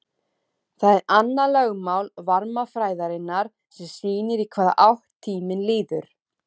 Það er annað lögmál varmafræðinnar sem sýnir í hvaða átt tíminn líður.